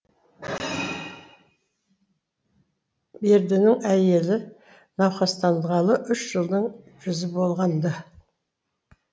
бердінің әйелі науқастанғалы үш жылдың жүзі болған ды